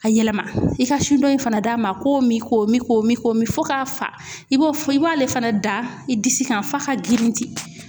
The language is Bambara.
A yɛlɛma i ka su dɔ in fana d'a ma k'o min k'o min k'o min k'o min fo k'a fa i b'o i b'ale fana da i disi kan f'a ka girinti.